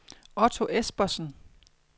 Otto Espersen